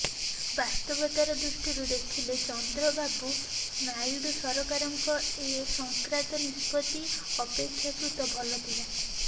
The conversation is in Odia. ବାସ୍ତବତା ଦୃଷ୍ଟିରୁ ଦେଖିଲେ ଚନ୍ଦ୍ରବାବୁ ନାଇଡୁ ସରକାରଙ୍କ ଏ ସଂକ୍ରାନ୍ତ ନିଷ୍ପତ୍ତି ଅପେକ୍ଷାକୃତ ଭଲ ଥିଲା